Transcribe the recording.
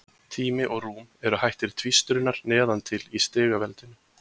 Tími og rúm eru hættir tvístrunar neðan til í stigveldinu.